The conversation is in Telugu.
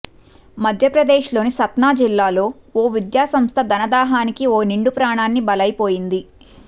మధ్యప్రదేశ్లోని సత్నా జిల్లాలో ఓ విద్యాసంస్థ ధనదాహానికి ఓ నిండు ప్రాణాన్ని బలైపోయింది